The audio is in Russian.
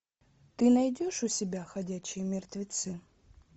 ты найдешь у себя ходячие мертвецы